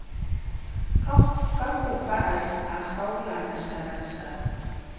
ka fofa a kgaola masabasaba